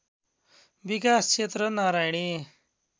विकास क्षेत्र नारायणी